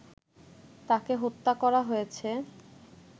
তাকে হত্যা করা হয়েছে